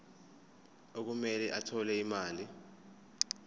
okumele athole imali